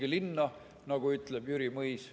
Kolige linna, nagu ütleb Jüri Mõis.